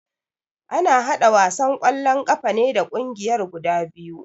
Ana haɗa wasan kwallo ƙafa ne da kungiyar guda biyu